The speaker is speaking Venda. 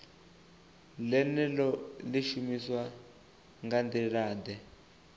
ḽeneḽo ḽi shumiswa nga nḓilaḓe